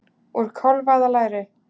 Úr kálfa eða læri!